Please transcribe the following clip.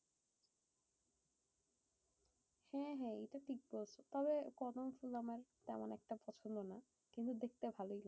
হ্যাঁ হ্যাঁ এটা ঠিক বলছো। তবে কদম ফুল আমার তেমন একটা পছন্দ না। কিন্তু দেখতে ভালোই লাগে।